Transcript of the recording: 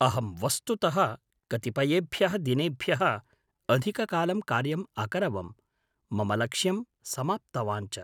अहं वस्तुतः कतिपयेभ्यः दिनेभ्यः अधिककालं कार्यम् अकरवं, मम लक्ष्यं समाप्तवान् च।